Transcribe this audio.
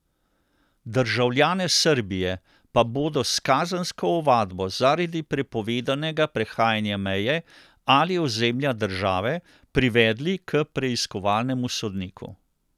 Državljane Srbije pa bodo s kazensko ovadbo zaradi prepovedanega prehajanja meje ali ozemlja države privedli k preiskovalnemu sodniku.